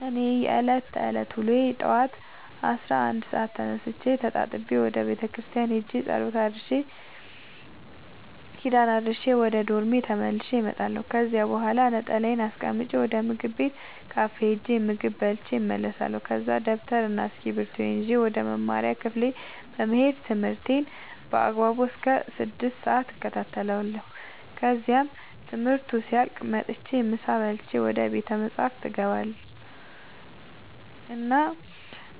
የእኔ የዕለት ተዕለት ውሎዬ ጠዋት አስራ አንድ ሰአት ተነስቼ ተጣጥቤ ወደ ቤተክርስቲያን ሄጄ ጸሎት አድርሼ ኪዳን አድርሼ ወደ ዶርሜ ተመልሼ እመጣለሁ ከዚያ በኋላ ነጠላዬን አስቀምጬ ወደ ምግብ ቤት ካፌ ሄጄ ምግብ በልቼ እመለሳለሁ ከዛ ደብተርና እስኪብርቶዬን ይዤ ወደ መማሪያ ክፍሌ በመሄድ ትምህርቴን በአግባቡ እስከ ስድስት ሰአት እከታተላለሁ ከዚያም ትምህርቱ ሲያልቅ መጥቼ ምሳ በልቼ ወደ ቤተ መፅሀፍ እገባ እና